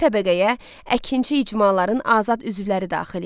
İkinci təbəqəyə əkinçi icmaların azad üzvləri daxil idi.